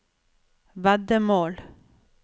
veddemål